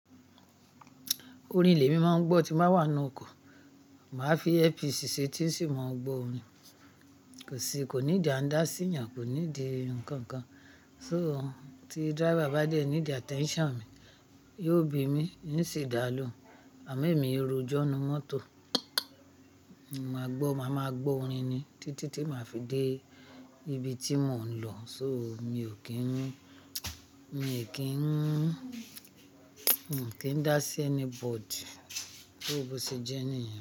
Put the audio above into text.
Orin ié mi máa ń gbọ́ tí n bà wà nínú ọkọ̀. Màá fi earpiece si etí n sì máa gbọ́ orin. Kò sí, kò need an dá sí eyàn, kò need ǹkan kan. So tí driver bá dẹ́ ní di attention mi, yóò bì mí n sì dálòhun. Àmo emi i rojọ́ ninu mọ́tò, mo máa gbọ́, màá máa gbọ́ orin ni títí tí màá fi dé ibi tí mò ń lọ. So mi ò kí ń, mi ò kí ń, mi ò kí ń dá sí anybody só bó se jẹ́ nìyen.